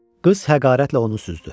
Qız həqarətlə onu süzdü.